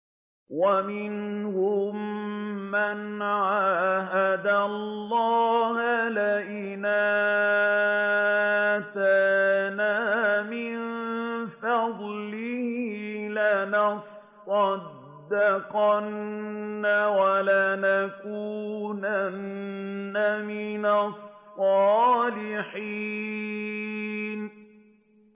۞ وَمِنْهُم مَّنْ عَاهَدَ اللَّهَ لَئِنْ آتَانَا مِن فَضْلِهِ لَنَصَّدَّقَنَّ وَلَنَكُونَنَّ مِنَ الصَّالِحِينَ